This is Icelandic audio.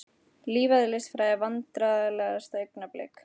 Lífeðlisfræði Vandræðalegasta augnablik?